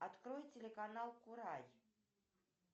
открой телеканал курай